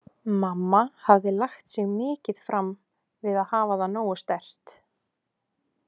Mamma hafði lagt sig mikið fram við að hafa það nógu sterkt.